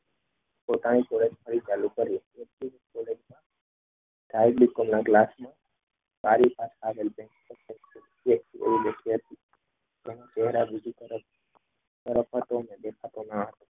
પોતાનું સુરત ફરી ચાલુ કર્યું